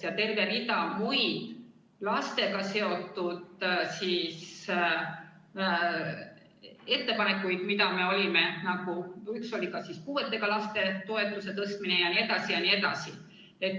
Ja oli veel terve hulk muid lastega seotud ettepanekuid, mida me olime teinud, üks neist on ka puuetega laste toetuse tõstmine, jne, jne.